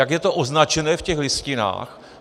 Jak je to označené v těch listinách?